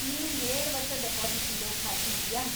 ನೀವ್‌ ಏಳು ವರ್ಷ ಡಿಪಾಸಿಟ್‌ ಇಡೋ ಖಾತ್ರಿ ಇದೆಯಾ?